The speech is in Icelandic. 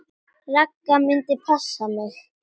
Ragga myndi passa mig.